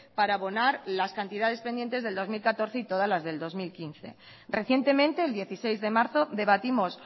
para abonar las cantidades pendientes del dos mil catorce y todas las del dos mil quince recientemente el dieciséis de marzo debatimos